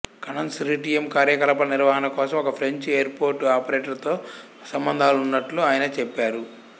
consortium కార్యకలాపాలు నిర్వహణ కోసం ఒక ఫ్రెంచ్ ఎయిర్పోర్టు ఆపరేటర్తో సంబంధాలున్నట్లు ఆయన చెప్పారు